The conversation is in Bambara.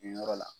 Nin yɔrɔ la